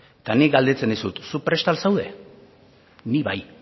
eta nik galdetzen dizut zu prest al zaude ni bai